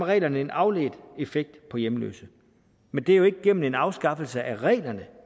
reglerne en afledt effekt på hjemløse men det er jo ikke gennem en afskaffelse af reglerne